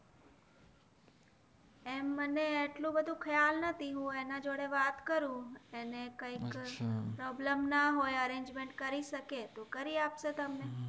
આમ મને એટલું બધું ખ્યાલ નથી હું અને જોડે વાત કરું અને કંઈક પ્રોબ્લેમ ના હોય અરેન્જમેનેટ કરી શકે તો કરી આપ શે તમને